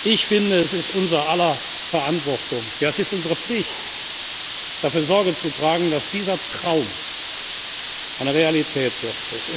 Ich finde, es liegt in unser aller Verantwortung, ja es ist unsere Pflicht, dafür Sorge zu tragen, dass dieser Traum eine Realität